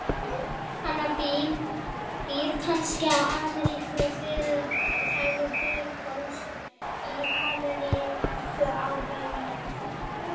Annar býr kannski í amerískri hliðstæðu Breiðholts, hinn í amerísku Árbæjarhverfi.